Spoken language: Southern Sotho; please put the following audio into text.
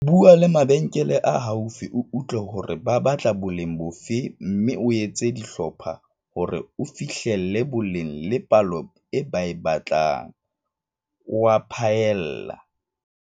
Bua le mabenkele a haufi o utlwe hore ba batla boleng bofe mme o etse dihlopha hore o fihlelle boleng le palo e ba e batlang," o a phaella.